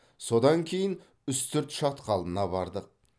содан кейін үстірт шатқалына бардық